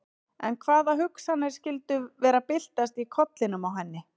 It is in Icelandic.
En hvaða hugsanir skyldu vera að byltast í kollinum á henni?